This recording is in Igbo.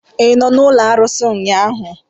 ị nọ n'ụlọ arụsị ụnyahụ?